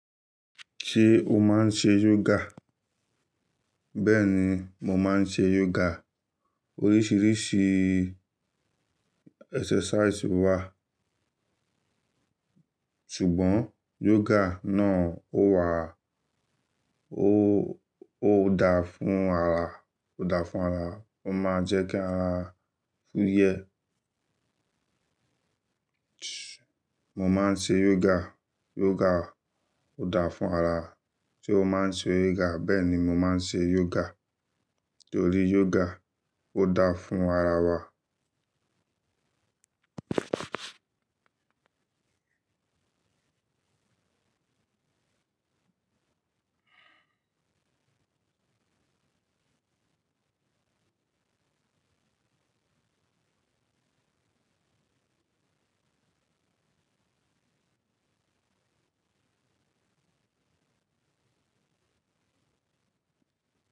Ṣé o máa ń ṣe yoga? Bẹ́ẹ̀ ni, mo máa ń ṣe yoga. Oríṣiríṣi exercise wà, ṣùgbọ́n yoga náà ó wà, ó, ó da fún ara, ó da fún ara, ó máa ń jẹ́ kí ara fuyẹ. Mo máa ń ṣe yoga, yoga ó da fún ara. Ṣé o máa ń ṣe yoga? Bẹ́ẹ̀ ni, mo máa ń ṣe yoga, torí yoga ó da fún ara wa.